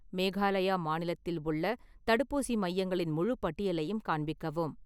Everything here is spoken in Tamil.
மேகாலயா மாநிலத்தில் உள்ள தடுப்பூசி மையங்களின் முழுப் பட்டியலையும் காண்பிக்கவும்